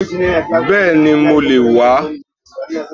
Bẹ́ẹ̀ni mo lè wàá